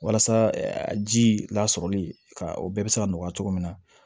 Walasa a ji lasɔrɔli ka o bɛɛ bɛ se ka nɔgɔya cogo min na